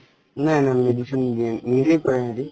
নাই নাই medicine নিদিয়ে কই সেহেতি